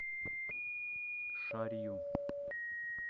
шарью